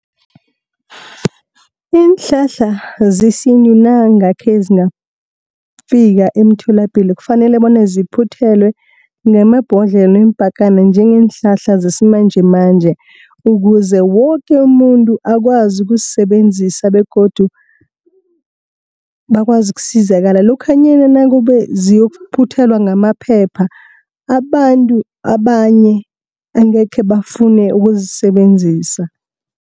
Iinhlahla zesintu nangakhe zingafika emtholapilo kufanele bona ziphuthelwe ngamabhodlelo, iimpakana njengeenhlahla zesimanjemanje ukuze woke umuntu akwazi ukuzisebenzisa. Begodu bakwazi ukusizakala lokhanyana nakube ziyokuphuthelwa ngamaphepha, abantu abanye angekhe bafune ukuzisebenzisa.